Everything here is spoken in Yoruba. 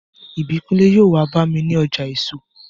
Ìbíkúnlé yóò wá bá mi ní ọjà èso